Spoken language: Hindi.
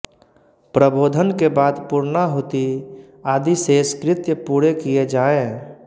प्रबोधन के बाद पूर्णाहुति आदि शेष कृत्य पूरे किये जाएँ